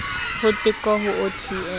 ho teko ho o tl